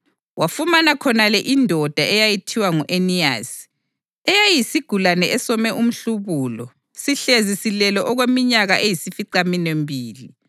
Wafumana khonale indoda eyayithiwa ngu-Eniyasi, eyayiyisigulane esome umhlubulo sihlezi silele okweminyaka eyisificaminwembili.